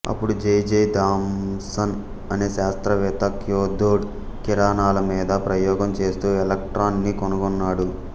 అప్పుడు J J Thomson అనే శాస్త్రవేత్త క్యాథోడ్ కిరణాల మీద ప్రయోగం చేస్తూ ఎలక్ట్రాన్ ని కనుగొన్నాడు